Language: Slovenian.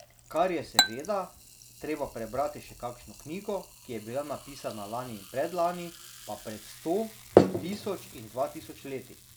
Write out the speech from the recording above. Ker je seveda treba prebrati še kakšno knjigo, ki je bila napisana lani in predlani, pa pred sto, tisoč in dva tisoč leti.